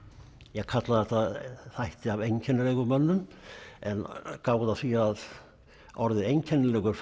ég kalla þetta þætti af einkennilegum mönnum en gáðu að því að orðið einkennilegur